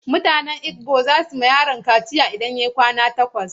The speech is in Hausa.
Mutanen Igbo za su yi wa yaron kaciya idan ya kai kwana takwas.